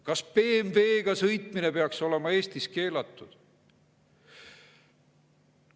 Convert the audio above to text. Kas BMW‑ga sõitmine peaks olema Eestis keelatud?